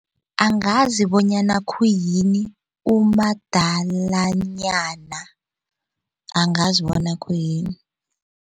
Angazi bonyana khuyini umadalanyana angazi bona khuyini.